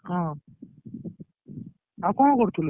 ହଁ! ଆଉ କଣ କରୁଥିଲୁ?